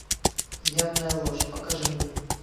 явная ложь покажи мне